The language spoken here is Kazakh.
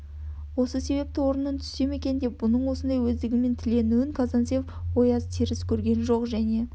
осы себепті орнымнан түссем екен деген бұның осындай өздігімен тіленуін казанцев ояз теріс көрген жоқ және